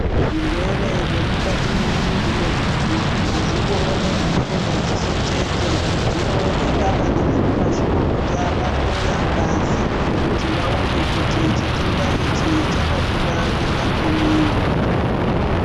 Zvirwere zve mukati me mumwiri mwe muntu azvioneki ne madziso chete zvinoonekwa nana mazvikokota va hloya ngazi kuti vaone kuti chitenda ichi chaka kura zvakadini.